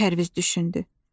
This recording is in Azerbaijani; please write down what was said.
Pərviz düşündü.